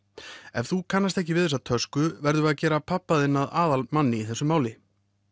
ef þú kannast ekki við þessa tösku verðum við að gera pabba þinn að aðalmanni í þessi máli